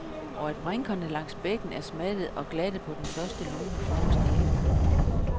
Og at brinkerne langs bækken er smattede og glatte på den første lune forårsdag.